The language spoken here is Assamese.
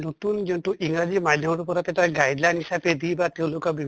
নতুন যোনটো ইংৰাজী মাধ্য়মৰ ওপৰত এটা guideline হিচাপে দি বা তেওঁলোক আ